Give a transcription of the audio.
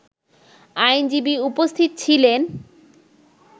আইনজীবী উপস্থিত ছিলেন